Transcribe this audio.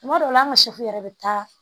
Tuma dɔw la an ka yɛrɛ bɛ taa